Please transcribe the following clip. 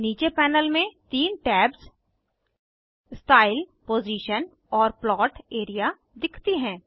नीचे पैनल में तीन टैब्स स्टाइल पोजिशन और प्लॉट एआरईए दिखती हैं